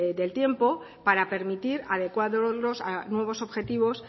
del tiempo para permitir adecuarlos a nuevos objetivos